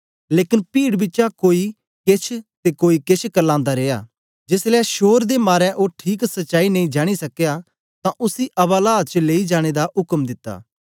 लेकन पीड बिचा कोई केछ ते कोई केछ करलांदा रिया जेसलै शोर दे मारे ओ ठीक सच्चाई नेई जानी सकया तां उसी अवालात च लेई जाने दा उक्म दिता